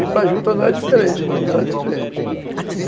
E para a juta não era diferente, não, não era diferente.